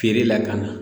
Feere lakana